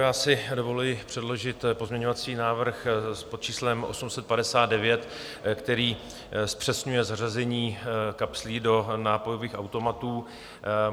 Já si dovoluji předložit pozměňovací návrh pod číslem 859, který zpřesňuje zařazení kapslí do nápojových automatů.